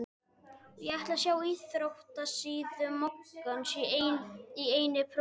Ég ætla að sjá íþróttasíðu moggans í eigin persónu.